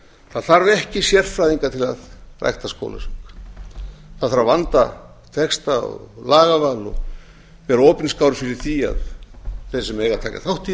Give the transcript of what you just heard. það þarf ekki sérfræðinga til að rækta skólasöng það þarf að vanda texta og lagaval og vera opinskár fyrir því að þeir sem eiga að taka þátt í